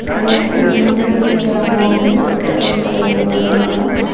அதே மாரி முன்னாடி நிக்கிற அம்மா வந்து துப்பட்டா வெச்சு தலைய மூடிருக்காங்க.